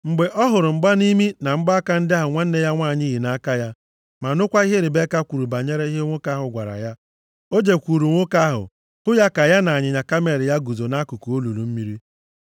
Mgbe ọ hụrụ mgbanimi, na mgbaaka ndị ahụ nwanne ya nwanyị yi nʼaka ya, ma nụkwa ihe Ribeka kwuru banyere ihe nwoke ahụ gwara ya, o jekwuru nwoke ahụ, hụ ya ka ya na ịnyịnya kamel ya guzo nʼakụkụ olulu mmiri.